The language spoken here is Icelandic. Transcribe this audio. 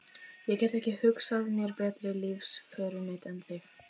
Ég get ekki hugsað mér betri lífsförunaut en þig.